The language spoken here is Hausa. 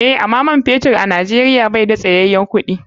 Eh, ama man fetur a nijeria bai da tsayayen kuɗi.